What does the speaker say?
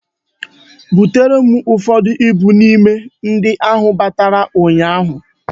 Butere m ụfọdụ ibu n'ime ndị a ahụ batara ụnyaahụ